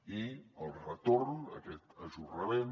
i el retorn aquest ajornament